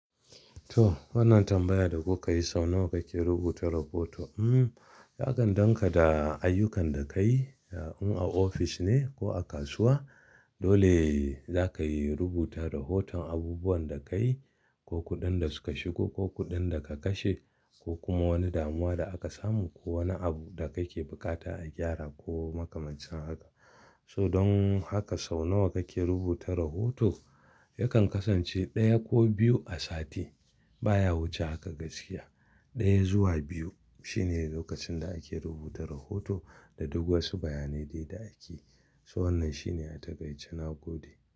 To wannan tambayar da kuka yi sau nawa kake rubuta rahoto? Hmm, yakan danganta da ayyukan da ka yi, in a ofis ne ko a kasuwa dole za ka yi rubuta rahoton abubuwan da ka yi ko kuɗin da suka shigo ko kuɗin da ka kashe ko kuma wani damuwa da aka samu ko wani abu da ka ke buƙata a gyara ko makamancin haka. So don haka sau nawa kake rubuta rahoto? Yakan kasance ɗaya ko biyu a sati baya wuce haka gaskiya. Ɗaya zuwa biyu shine lokacin da ake rubuta rahoto da duk wasu bayanai da ake. So wannan shine a takaice na gode.